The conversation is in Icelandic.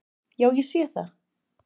Já, ég sé það!